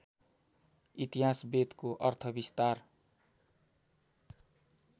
इतिहास वेदको अर्थविस्तार